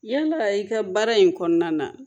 Yala i ka baara in kɔnɔna na